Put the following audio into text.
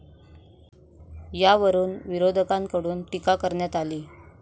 यावरून विरोधकांकडून टीका करण्यात आली.